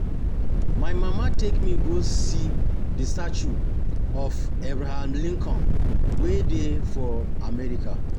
My mama take me go see the statue of Abraham Lincoln wey dey for America